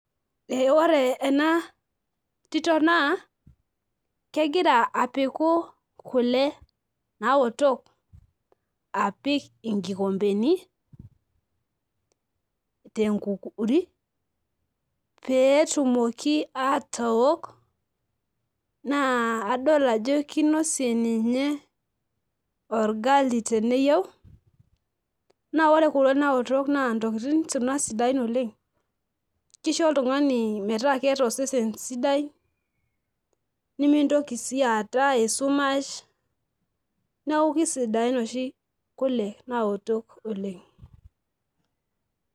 ee ore ena tito naa kegira apiku kule naotok, apik inkikompeni tenkukuri, pee etumoki atook, naa adol ajo kinosie ninye orgali teneyieu ,naa ore kuna le naotok naa ntokitin sidain kuna oleng'.kisho oltungani metaa keeta osesen sidai. nimintoki sii aata esumash. neeku kisidain oshi kule naotok oleng.